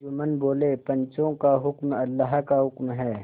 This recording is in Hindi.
जुम्मन बोलेपंचों का हुक्म अल्लाह का हुक्म है